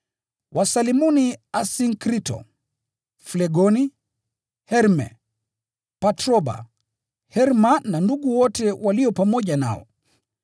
Wasalimuni Asinkrito, Flegoni, Herme, Patroba, Herma na ndugu wote walio pamoja nao.